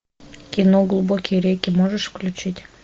кино глубокие реки можешь включить